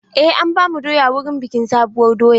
Eh, an bamu doya wurin bikin sabuwar doya.